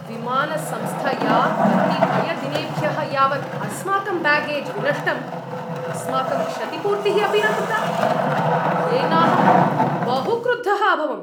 विमानसंस्थया कतिपयदिनेभ्यः यावत् अस्माकम् ब्यागेज् विनष्टं, अस्माकं क्षतिपूर्तिः अपि न कृता, येनाहं बहु क्रुद्धः अभवम्।